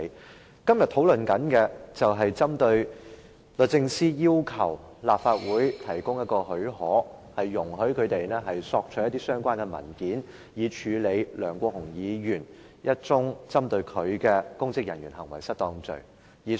我們今天討論的，是律政司要求立法會給予許可，容許他們索取一些相關文件，以處理一宗針對梁國雄議員的公職人員行為失當的案件。